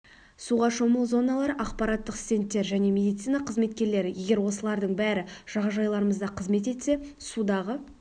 суға шомылу зоналары ақпараттық стендтер және мелицина қызметкерлері егер осылайрдың бәрі жағажайларымызда қызмет етсе судағы